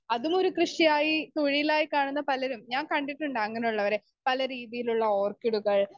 speaker 2 അതുമൊരു കൃഷിയായി തൊഴിലായി കാണുന്ന പലരും ഞാൻ കണ്ടിട്ടുണ്ട് അങ്ങനെ ഉള്ളവരെ പലരീതിയിലുള്ള ഓർക്കിഡുകൾ